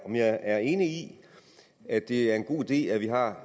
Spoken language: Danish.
er enig i at det er en god idé at vi har